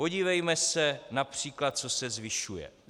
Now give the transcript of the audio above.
Podívejme se například, co se zvyšuje.